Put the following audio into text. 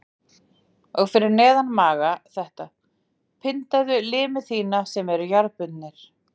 Og fyrir neðan magann þetta: Pyndaðu limi þína sem eru jarðbundnir.